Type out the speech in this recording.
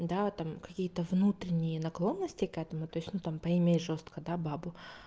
да там какие-то внутренние наклонности к этому то есть ну там поиметь жёстко да бабу